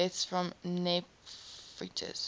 deaths from nephritis